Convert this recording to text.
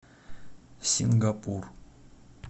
сингапур